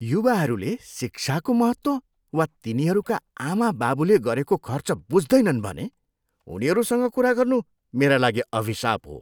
युवाहरूले शिक्षाको महत्त्व वा तिनीहरूका आमाबाबुले गरेको खर्च बुझ्दैनन् भन्ने उनीहरूसँग कुरा गर्नु मेरा लागि अभिशाप हो।